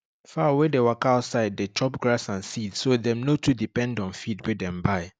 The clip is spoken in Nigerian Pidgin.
fowl wey dey waka outside dey chop grass and seed so dem no too depend on feed wey dem buy